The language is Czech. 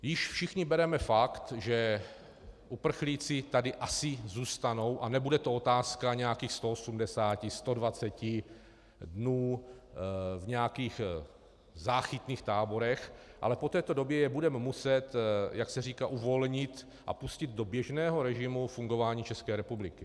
Již všichni bereme fakt, že uprchlíci tady asi zůstanou a nebude to otázka nějakých 180, 120 dnů v nějakých záchytných táborech, ale po této době je budeme muset, jak se říká, uvolnit a pustit do běžného režimu fungování České republiky.